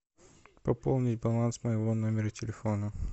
пополнить баланс моего номера телефона